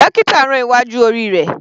Dókítà rán iwájú orí rẹ̀.